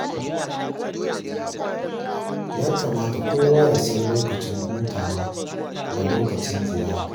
Ya kamata kowa ya san lokacin hutawa da lokacin ziyara.